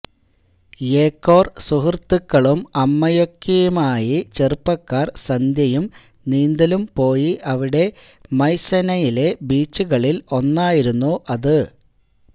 യേകോർ സുഹൃത്തുക്കളും അമ്മയുമൊക്കെയായി ചെറുപ്പക്കാർ സന്ധ്യയും നീന്തലും പോയി അവിടെ മൈസെനയിലെ ബീച്ചുകളിൽ ഒന്നായിരുന്നു അത്